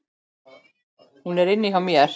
Hún er inni hjá mér.